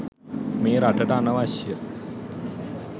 මේ රටට අනවශ්‍යය.